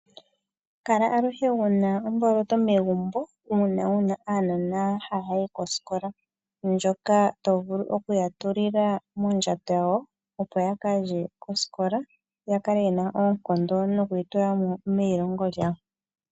Kala aluhe wuna omboloto megumbo uuna wuna aanona haya yi kosikola ndyoka tovulu okuya tulila muundjato wawo opo yaka lye kosikola yakale yena oonkondo noku itulamo meyilongo lyawo.